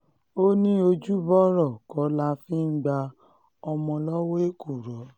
um ó ní ojúbọ̀rọ̀ kọ́ la fi ń gba ọmọ lọ́wọ́ um èkùrọ́